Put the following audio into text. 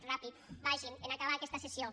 ràpid vagin en acabar aquesta sessió